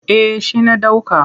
Eh shi na ɗauka.